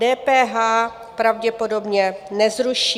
DPH pravděpodobně nezruší.